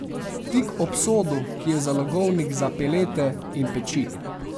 Tik ob sodu, ki je zalogovnik za pelete, in peči.